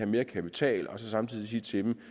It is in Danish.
mere kapital og så samtidig sige til dem